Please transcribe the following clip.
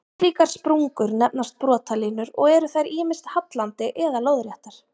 Slíkar sprungur nefnast brotalínur og eru þær ýmist hallandi eða lóðréttar.